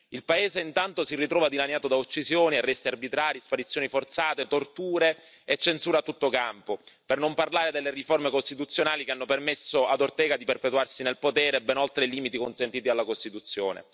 Il paese intanto si ritrova dilaniato da uccisioni, arresti arbitrari, sparizioni forzate, torture e censura a tutto campo, per non parlare delle riforme costituzionali che hanno permesso ad Ortega di perpetuarsi nel potere, ben oltre i limiti consentiti dalla Costituzione.